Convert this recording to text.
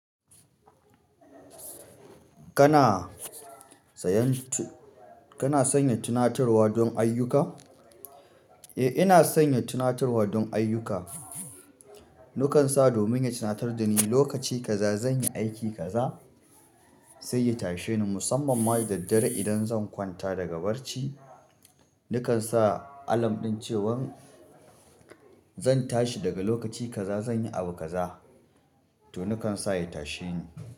Kana sanya tunaturwa don ayyuka? Eh, ina sanya tunatarwa don ayyuka. Nakan sa domin ya tunatar da ni lokaci kaza zan yi aiki kaza sai ya tashe ni musamman ma da daddare idan zan kwanta daga barci. Nakan sa alarm ɗin cewan zan tashi daga lokaci kaza zan yi abu kaza to nakan sa ya tashe ni.